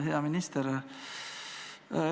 Hea minister!